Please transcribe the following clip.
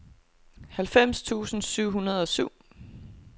halvfems tusind syv hundrede og syv